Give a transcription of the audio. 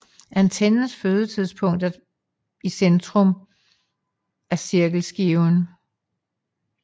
Antennens fødepunkt er i centrum af cirkelskiven